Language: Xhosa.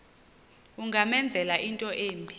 ungamenzela into embi